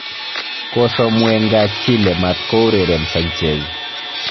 Kosom Wenger Chile maat koureren Sanchez